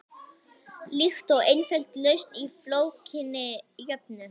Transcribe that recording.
Líkt og einföld lausn á flókinni jöfnu.